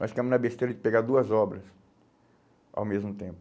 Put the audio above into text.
Nós ficamos na besteira de pegar duas obras ao mesmo tempo.